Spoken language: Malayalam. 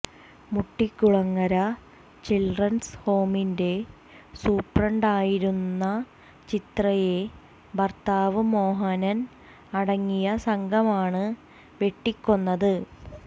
മുട്ടിക്കുളങ്ങര ചിൽഡ്രൻസ് ഹോമിന്റെ സൂപ്രണ്ടായിരുന്ന ചിത്രയെ ഭർത്താവ് മോഹനൻ അടങ്ങിയ സംഘമാണ് വെട്ടിക്കൊന്നത്